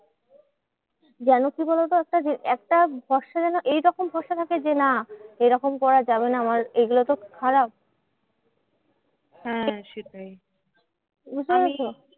যেন কি বলোতো? একটা যে একটা ভরসা যেন এইরকম ভরসা থাকে যে না এরকম করা যাবে না আমার এগুলোতো খুব খারাপ।